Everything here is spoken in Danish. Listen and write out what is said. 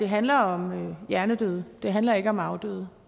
handler om hjernedøde det handler ikke om afdøde